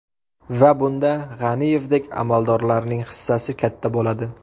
Va bunda G‘aniyevdek amaldorlarning hissasi katta bo‘ladi!